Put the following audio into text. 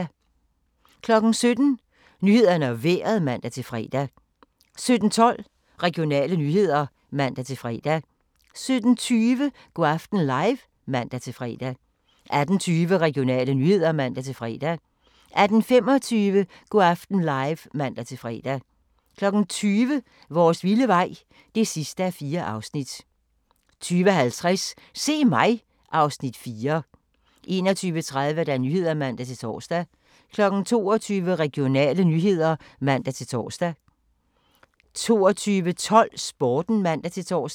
17:00: Nyhederne og Vejret (man-fre) 17:12: Regionale nyheder (man-fre) 17:20: Go' aften live (man-fre) 18:20: Regionale nyheder (man-fre) 18:25: Go' aften live (man-fre) 20:00: Vores vilde vej (4:4) 20:50: Se mig! (Afs. 4) 21:30: Nyhederne (man-tor) 22:00: Regionale nyheder (man-tor) 22:12: Sporten (man-tor)